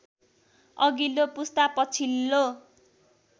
अघिल्लो पुस्ता पछिल्लो